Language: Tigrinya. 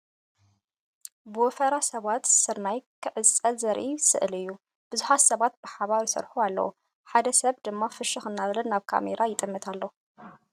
ብወፈራ ሰባት ስርናይ ክዓጽዱ ዘርኢ ስእሊ እዩ። ብዙሓት ሰባት ብሓባር ይሰርሑ ኣለዉ። ሓደ ሰብ ድማ ፍሽኽ እናበለ ናብ ካሜራ ይጥምት ኣሎ።